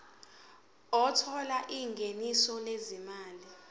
othola ingeniso lezimali